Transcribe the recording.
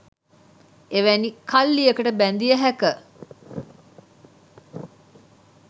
එවැනි කල්ලියකට බැඳිය හැක.